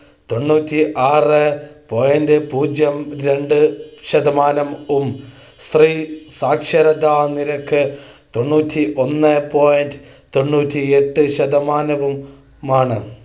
തൊണ്ണൂറ്റി ആറ് point പൂജ്യം രണ്ടു ശതമാനവും സ്ത്രീ സാക്ഷരതാനിരക്ക് തൊണ്ണൂറ്റി ഒന്ന് point തൊണ്ണൂറ്റി എട്ട് ശതമാനവുമാണ്.